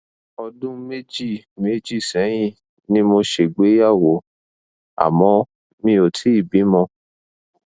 ọdún méjì méjì sẹyìn ni mo ṣègbéyàwó àmọ mi ò tíì bímọ